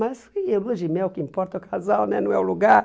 Mas em Lua de Mel, o que importa é o casal né, não é o lugar.